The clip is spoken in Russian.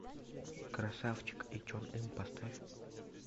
красавчик и чон ым поставь